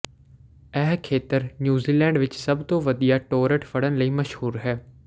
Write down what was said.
ਇਹ ਖੇਤਰ ਨਿਊਜ਼ੀਲੈਂਡ ਵਿੱਚ ਸਭ ਤੋਂ ਵਧੀਆ ਟੌਰਟ ਫੜਨ ਲਈ ਮਸ਼ਹੂਰ ਹੈ